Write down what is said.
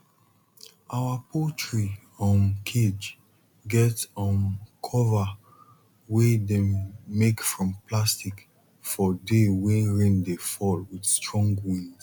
our poultry um cage get um cover wey dem make from plastic for day wey rain dey fall with strong wind